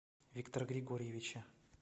виктора григорьевича